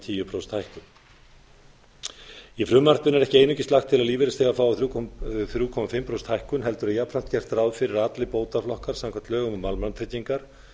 tíu prósenta hækkun í frumvarpinu er ekki eingöngu lagt til að lífeyrisþegar fái þrjá og hálft prósent hækkun heldur er jafnframt gert ráð fyrir að allir bótaflokkar samkvæmt lögum um almannatryggingar